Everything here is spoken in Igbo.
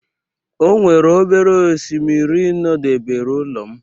O nwere obere oshimiri nọdebere ụlọ m.